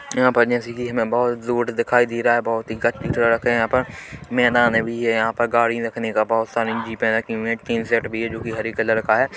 यहाँ पर जैसे कि हमें बहुत जूट्स दिखाई दे रहा है बहुत ही गड्डी सड़क है यहाँ पर मैदान भी है यहाँ पर गाड़ी रखने का बहुत सारी जी पे रखी हुई है टिन सेट भी है जो की हरी कलर का है।